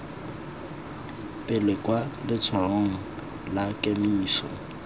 pele kwa letshwaong la kemiso